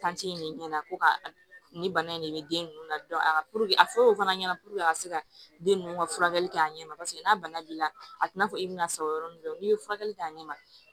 in de ɲɛna ko ka nin bana in de bɛ den ninnu na a fɔ o fana ɲɛna a bɛ se ka den ninnu ka furakɛli kɛ a ɲɛ ma paseke n'a bana b'i la a tɛna fɔ i bɛna sa o yɔrɔ min do n'i ye furakɛli k'a ɲɛma